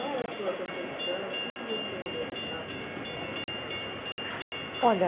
Qual é a sua percepção, o que você achava dessa proposta? Olha,